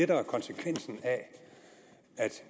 der er konsekvensen af at